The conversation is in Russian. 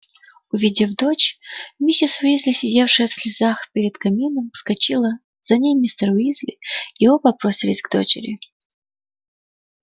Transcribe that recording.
увидев дочь миссис уизли сидевшая в слезах перед камином вскочила за ней мистер уизли и оба бросились к дочери